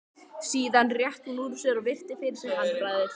Síðan rétti hún úr sér og virti fyrir sér handbragðið.